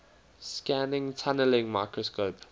scanning tunneling microscope